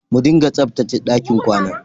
Mu dinga tsabtache ɗakin kwana.